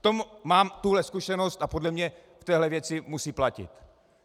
V tom mám tuhle zkušenost a podle mě v téhle věci musí platit.